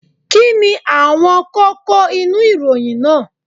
Kí ni àwọn kókó inú ìròyìn náà